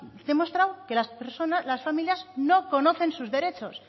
demostrado que las familias no conocen sus derechos